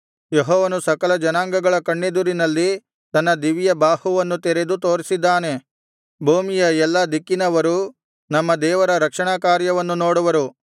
ಯೆಹೋವನು ಸಕಲ ಜನಾಂಗಗಳ ಕಣ್ಣೆದುರಿನಲ್ಲಿ ತನ್ನ ದಿವ್ಯಬಾಹುವನ್ನು ತೆರೆದು ತೋರಿಸಿದ್ದಾನೆ ಭೂಮಿಯ ಎಲ್ಲಾ ದಿಕ್ಕಿನವರೂ ನಮ್ಮ ದೇವರ ರಕ್ಷಣಾಕಾರ್ಯವನ್ನು ನೋಡುವರು